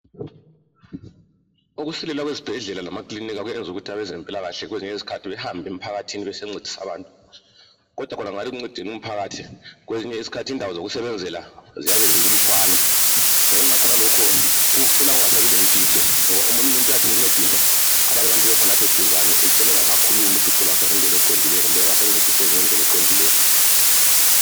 ukusilela kwezibhedlela lamakilinika kwezinye izikhathi kwenza abezempilakahle bacine behambe emphakathini beyonceda umphakathi kwezinye izikhathi indawo zokusebenzela zinlutshwane ngenxa yakhonokho kucina kulemfihlo omunye umuntu uyathi encediswa abanye abantu beseduzane ucina engasakhulumi uhlupho lwakhe ngendlela eqondileyo kumbe engasancediseki ngendlela eqondileyo